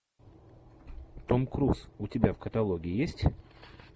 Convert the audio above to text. том круз у тебя в каталоге есть